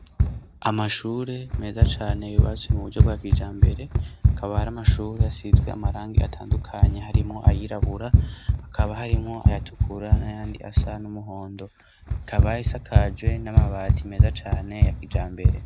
Amashuri meza cane, yubatswe mu buryo bwa kijambere, akaba ar'amashuri asizwe amarangi atandukanye harimwo ayirabura, hakaba harimwo ayatukura n'ayandi asa n'umuhondo, ikaba isakaje n'amabati meza cane ya kijambere.